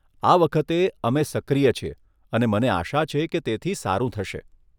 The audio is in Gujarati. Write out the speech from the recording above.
આ વખતે, અમે સક્રિય છીએ અને મને આશા છે કે તેથી સારું થશે.